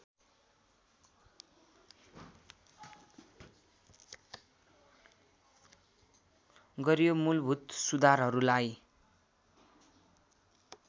गरियो मूलभूत सुधारहरूलाई